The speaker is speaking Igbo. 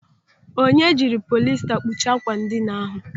Onye jiri polista kpuchie àkwà ndịna ahụ.